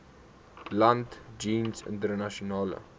land jeens internasionale